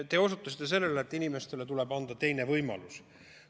Te osutasite sellele, et inimestele tuleb anda teine võimalus.